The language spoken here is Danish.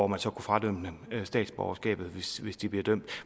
man så kunne frakende dem statsborgerskabet hvis hvis de bliver dømt